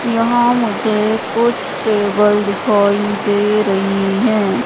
यहां मुझे कुछ टेबल दिखाई दे रही हैं।